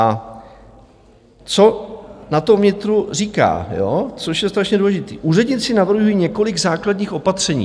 A co na to vnitro říká, což je strašně důležité: "Úředníci navrhuji několik základních opatření."